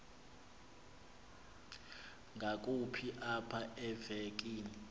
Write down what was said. ngakumbi apha evekini